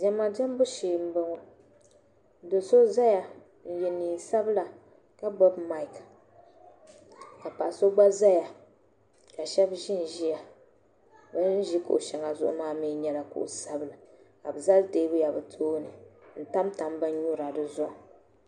diɛma diɛmbu shee m-bɔŋɔ do' so zaya n-ye neen' sabila ka gbubi maiki ka paɣa so gba zaya ka shɛba ʒinʒia bɛ ni ʒi kuɣ' shɛŋa zuɣu maa mi nyɛla kuɣ' sabila ka bɛ zali teebuya bɛ tooni n-tamtam binnyura di zuɣu